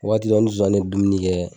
Waati dɔ ni zonzanin ye dumuni kɛ